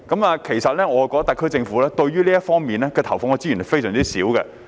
我認為特區政府對這方面投放的資源相當少。